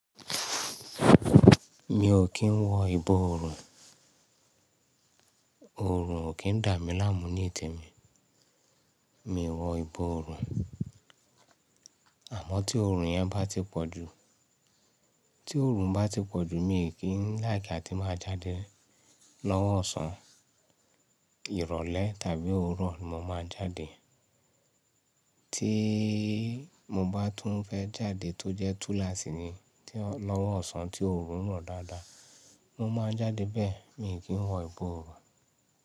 Mi ò kí ń wọ ìbọ̀ ọ̀rùn, ọ̀rùn ò kí ń dà mí láàmú ní te mi, mi o wọ ìbọ̀ ọ̀rùn. Àmọ́ tí ọ̀rùn yẹn bá ti pọ̀jù, tí ọ̀rùn bá ti pọ̀jù, mi kì like a tí máa jáde lọ́wọ́ ọ̀sán, ìrọ̀lẹ́ tàbí oòrùn mo máa jáde. Tí mo bá tún fẹ́ jáde tó jẹ́ túlaasi ni lọ́wọ́ ọ̀sán tí ọ̀orùn rọ̀ dáadáa, mo máa jáde bẹ́ẹ̀, mi ò kí ń wọ ìbọ̀ ọ̀rùn.